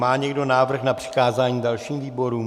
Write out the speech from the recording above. Má někdo návrh na přikázání dalším výborům?